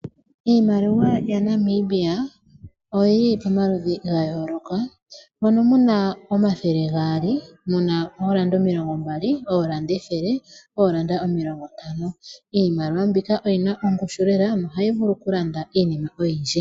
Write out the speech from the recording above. Iimaliwa yaNambia oyi li pamaludhi ga yooloka, mono mu na oondola omathele gaali, oondola ethele, oondola omilongo ntano osho wo oondola omilongo mbali. Iimaliwa mbika oyina ongushu lela nohayi vulu okulanda iinima oyindji.